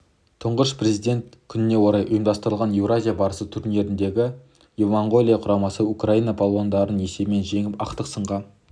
тұңғыш президент күніне орай ұйымдастырылған еуразия барысы турнирінде моңғолия құрамасы украина балуандарын есебімен жеңіп ақтық сынға